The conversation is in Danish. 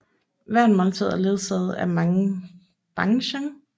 Hvert måltid er ledsaget af mange banchan